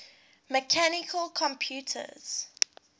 mechanical computers